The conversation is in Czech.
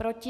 Proti?